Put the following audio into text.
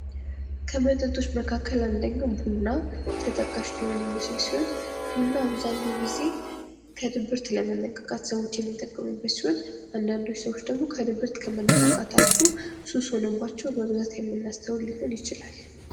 ከመጠጦች መካከል አንደኛው ቡና ተጠቃሽ ሊሆን የሚችል ሲሆን ቡና አብዛኛውን ጊዜ ከድብርት ለመነቃቃት ሰዎች የሚጠቀሙበት ሲሆን አንድአንዶች ሰዎች ደግሞ ከድብርት ከመነቃቃት አልፎ ሱስ ሆኖባቸው በብዛት የምናስተውል ሊሆን ይችላል።